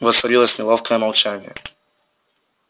воцарилось неловкое молчание